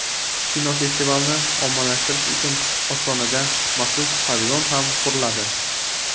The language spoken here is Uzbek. Kinofestivalni ommalashtirish uchun Ostonada maxsus pavilon ham quriladi.